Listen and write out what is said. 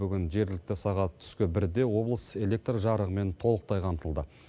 бүгін жергілікті сағат түскі бірде облыс электр жарығымен толықтай қамтылды